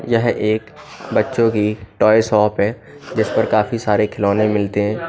यह एक बच्चों की टॉय शॉप है जिस पर काफी सारे खिलौने मिलते हैं।